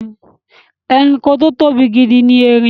Ẹranko tí ó tóbi gidi ni erin.